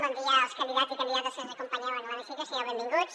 bon dia als candidats i candidates que ens acompanyeu en l’hemicicle sigueu benvinguts